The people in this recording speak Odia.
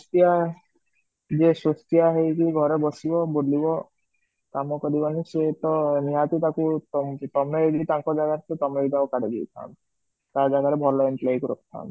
ଯିଏ ହେଇକି ଘରେ ବସିବା ବୁଲିବ ସେ ତ ନିହାତି ତାକୁ, ତମେ ଯଦି ତାଙ୍କ ଜାଗାରେ ଥିବା ତମେବି ତାକୁ କାଢି ଦେଇଥାନ୍ତ, ତା ଜାଗାରେ ଭଲ employee କୁ ରଖିଥାନ୍ତ